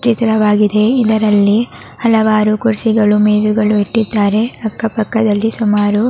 ಚಿತ್ರವಾಗಿದೆ ಇದರಲ್ಲಿ ಹಲವಾರು ಕುರ್ಚಿಗಳು ಮೇಜುಗಳು ಇಟ್ಟಿದ್ದಾರೆ ಅಕ್ಕ ಪಕ್ಕದಲ್ಲಿ ಸುಮಾರು --